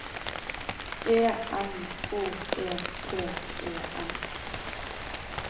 E N H E T E N